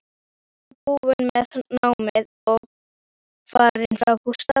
Ég var búin með námið og farin frá Gústa.